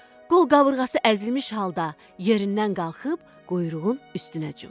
Qol-qabırğası əzilmiş halda yerindən qalxıb quyruğun üstünə cumdu.